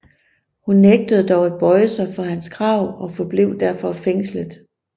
Hun nægtede dog at bøje sig for hans krav og forblev derfor fængslet